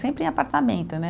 Sempre em apartamento, né.